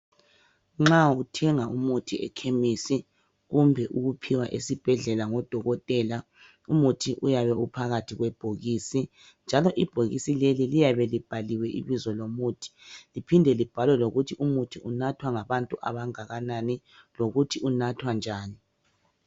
Nxa uthenga umuthi ekhemesi kumbe uwuphiwa esibhedlela ngodokotela umuthi uyabe uphakathi kwebhokisi njalo ibhokisi leli liyabe libhaliwe ibizo lomuthi liphinde libhalwe lokuthi umuthi unathwa ngabantu abangakanani lokuthi unathwa njani